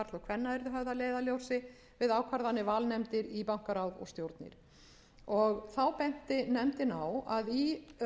að leiðarljósi við ákvarðanir valnefndar í bankaráð og stjórnir þá benti nefndin á að í